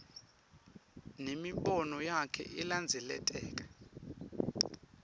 nemibono yakhe ilandzeleka